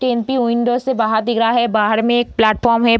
Train के window से बाहर दिख रहा है बाहर में एक प्लेटफार्म है।